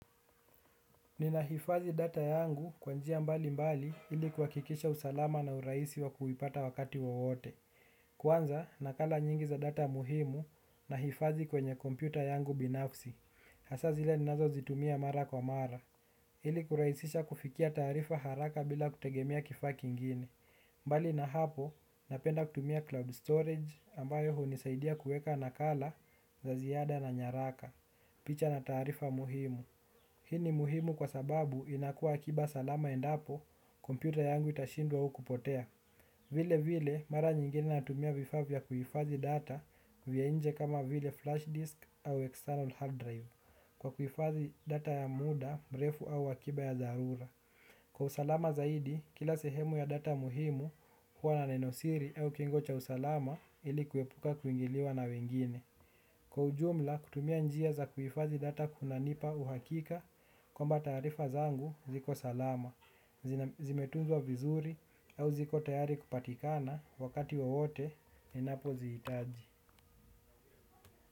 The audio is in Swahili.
Ninaifadhi data yangu kwanjia mbali mbali ili kwa kikisha usalama na uraisi wa kuhipata wakati wowote. Kwanza nakala nyingi za data muhimu na hifadhi kwenye kompyuta yangu binafsi. Hasa zile ninazo zitumia mara kwa mara. Ili kuraisisha kufikia tarifa haraka bila kutegemea kifa kingine. Mbali na hapo napenda kutumia cloud storage ambayo hu nisaidia kueka nakala za ziyada na nyaraka. Picha na tarifa muhimu. Hini muhimu kwa sababu inakua akiba salama endapo, kompyuta yangu itashindwa au kupotea. Vile vile, mara nyingine natumia vifa vya kuifadhi data vya inje kama vile flash disk au external hard drive. Kwa kuifadhi data ya muda, mrefu au akiba ya darura. Kwa usalama zaidi, kila sehemu ya data muhimu, huwa na nenosiri au kingo cha usalama ilikuwepuka kuingiliwa na wengine. Kwa ujumla kutumia njia za kuhifadhi data kunanipa uhakika kwamba taarifa zangu ziko salama zimetunzwa vizuri au ziko tayari kupatikana wakati wowote ninapozihitaji.